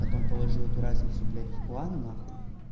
потом положил эту разницу блять в клан нахуй